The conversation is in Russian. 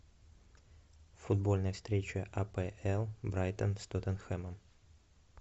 футбольная встреча апл брайтон с тоттенхемом